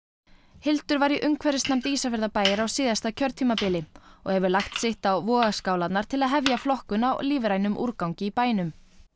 Hildur var í umhverfisnefnd Ísafjarðarbæjar á síðasta kjörtímabili og hefur lagt sitt á vogarskálarnar til hefja flokkun á lífrænum úrgangi í bænum